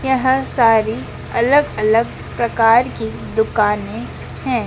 यहाँ सारी अलग अलग प्रकार की दुकाने हैं।